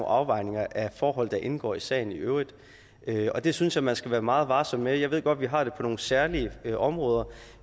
afvejninger af forhold der indgår i sagen i øvrigt og det synes jeg man skal være meget varsom med jeg ved godt at vi har det på nogle særlige områder